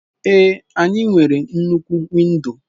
Ee, anyị nwere nnukwu windo.